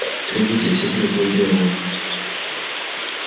глядите всё брюхо изрезано